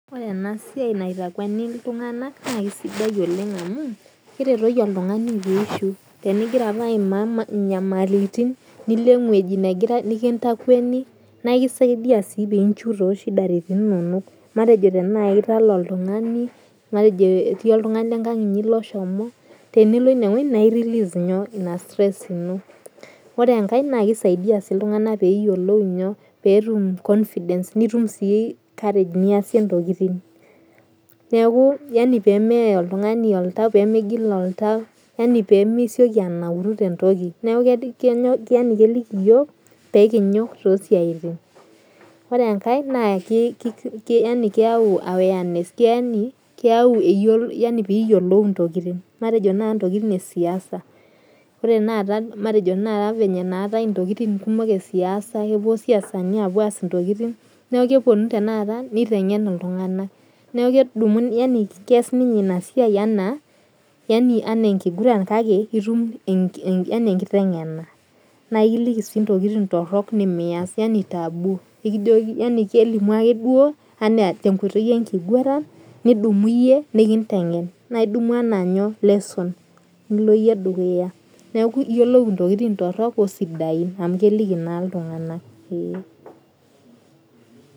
Ore ena siai naitakweni iltung'ana naa kisidai oleng amu keretoki oltung'ani pee enjieu tenigira naaji ayima nyamalitin nilo ewueji nikintakweni naa ekisaidia pee enjieu too chidaritin enono matejo tenaa etalaa oltung'ani matejo etii oltung'ani lee nkang enyi oshomo tenilo enewueji naa rerelease ena stress eno ore enkae naa kisaidia iltung'ana pee etum confidence nitum sii courage niasie ntokitin neeku yaani pee meye oltung'ani Oltau pee migil Oltau pee misioki anauru tee ntoki neeku keeliki eyiok pee ninyok too siatin ore enkae keyawu awareness pee eyiolou entokitin matejo ntokitin ee siasa ore Tanakata naatai entokitin kumok ee siasa kepuo siasani aas ntokitin neeku kepuonu nitengen iltung'ana kees ninye ena siai enaa enkiguran kake etum enkiteng'ena naa ekilikii sii ntokitin torok nimias yaani taboo kelimu ake duo tee nkoitoi enkiguran nidumu eyie nikitengen naa edumu enaa lesson nilo eyie dukuya eyiolou entokitin sidain oo ntorok amu keliki naa iltung'ana